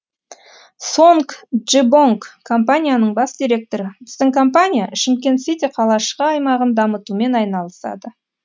сонг джебонг компанияның бас директоры біздің компания шымкент сити қалашығы аймағын дамытумен айналысады